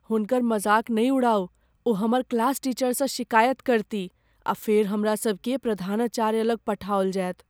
हुनकर मजाक नहि उड़ाउ। ओ हमर क्लास टीचरसँ शिकायत करतीह आ फेर हमरा सभकेँ प्रधानाचार्य लग पठाओल जायत।